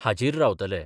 हाजीर रावतले.